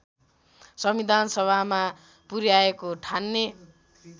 संविधानसभामा पुर्‍याएको ठान्ने